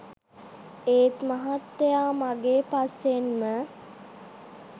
ඒත් මහත්තයා මගේ පස්සෙන්ම